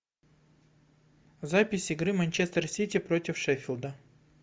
запись игры манчестер сити против шеффилда